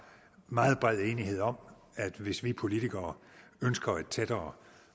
meget bred enighed om at hvis vi politikere ønsker et tættere